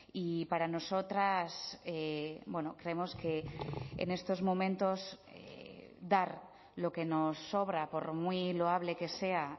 y para nosotras creemos que en estos momentos dar lo que nos sobra por muy loable que sea